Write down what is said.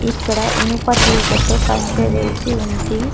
ఇక్కడ ఇనుప తీగతో కంచె వేసి ఉంది.